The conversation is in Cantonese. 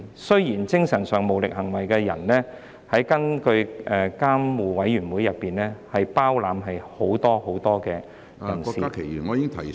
雖然"精神上無行為能力的人"，根據監護委員會，是包括很多意思......